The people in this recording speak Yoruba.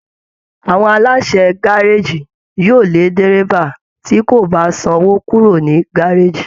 Àwọn aláṣẹ gárèjì yóò lé dérébà tí kò bá sanwò kúrò ní gárèjì